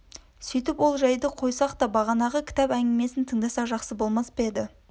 сөйтіп ол жайды қойсақ та бағанағы кітап әңгімесін тыңдасақ жақсы болмас па еді